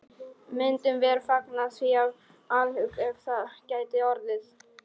Myndum vér fagna því af alhug, ef það gæti orðið.